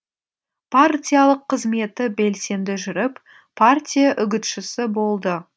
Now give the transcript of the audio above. партиялық қызметі белсенді жүріп партия үгітшісі болды